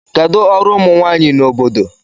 Kedụ ọrụ ụmụ nwanyị na obodo?